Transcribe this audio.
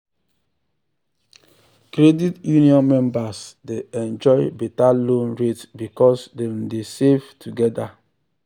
credit union members dey enjoy better loan rate because dem dey save together.